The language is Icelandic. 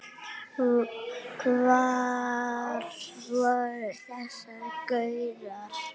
Hvar voru þessir gaurar?